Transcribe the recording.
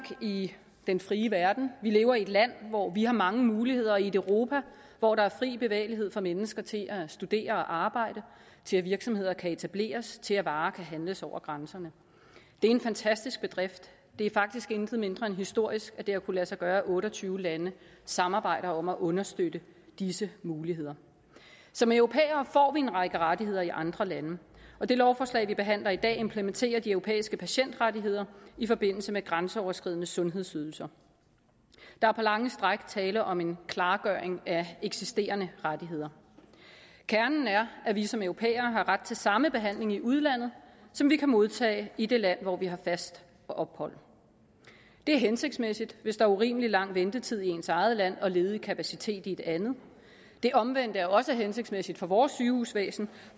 i den frie verden vi lever i et land hvor vi har mange muligheder i et europa hvor der er fri bevægelighed for mennesker til at studere og arbejde til at virksomheder kan etableres til at varer kan handles over grænserne det er en fantastisk bedrift det er faktisk intet mindre end historisk at det har kunnet lade sig gøre at otte og tyve lande samarbejder om at understøtte disse muligheder som europæere får vi en række rettigheder i andre lande og det lovforslag vi behandler i dag implementerer de europæiske patientrettigheder i forbindelse med grænseoverskridende sundhedsydelser der er på lange stræk tale om en klargøring af eksisterende rettigheder kernen er at vi som europæere har ret til samme behandling i udlandet som vi kan modtage i det land hvor vi har fast ophold det er hensigtsmæssigt hvis der er urimelig lang ventetid i ens eget land og ledig kapacitet i et andet det omvendte er også hensigtsmæssigt for vores sygehusvæsen